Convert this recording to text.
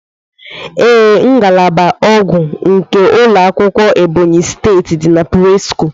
Ee, ngalaba ogwu nke ulọ akwụkwọ Ebonyi steeti di na presco.